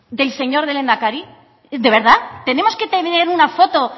del señor lehendakari de vedad tenemos que tener una foto